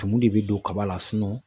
Tumu de bɛ don kaba la